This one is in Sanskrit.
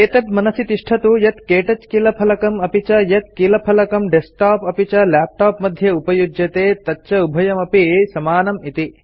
एतत् मनसि तिष्ठतु यत् क्तौच कीलफलकं अपि च यत् कीलफलकं डेस्कटॉप्स् लैपटॉप्स् मध्ये उपयुज्यते तच्च उभयमपि समानम् इति